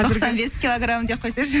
тоқсан бес килограм деп қойсайшы